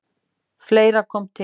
Fleira kom til.